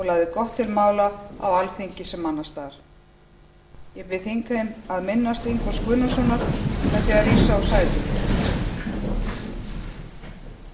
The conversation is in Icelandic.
gott til mála á alþingi sem annars staðar hann var ekki lengi á alþingi en reyndist nýtur alþingismaður ég bið þingheim að minnast ingólfs guðnasonar með því að rísa